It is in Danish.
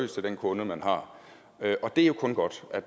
til den kunde man har det er jo kun godt at